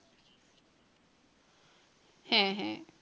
হ্যাঁ হ্যাঁ।